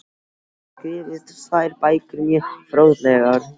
Hann hefur skrifað tvær bækur, mjög fróðlegar.